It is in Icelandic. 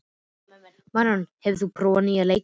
Maríon, hefur þú prófað nýja leikinn?